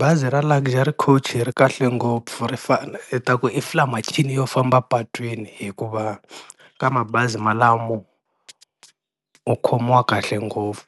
Bazi ra Luxury Coach ri kahle ngopfu ri fane hi ta ku i fly machine yo famba epatwini hikuva ka mabazi malamo u khomiwa kahle ngopfu,